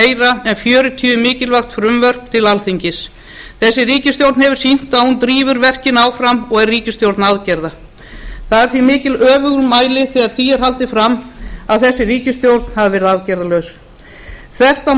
gera en fjörutíu mikilvæg frumvörp til alþingis þessi ríkisstjórn hefur sýnt að hún drífur verkin áfram og er ríkisstjórn aðgerða það er því mikið öfugmæli þegar því er haldið fram að þessi ríkisstjórn hafi verið aðgerðalaus þvert á